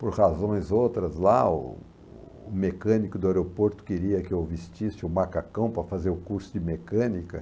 Por razões outras, lá o o mecânico do aeroporto queria que eu vestisse o macacão para fazer o curso de mecânica.